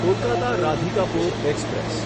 Kolkata Radhikapur express